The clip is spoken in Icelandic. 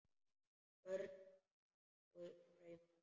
Börn ástar og drauma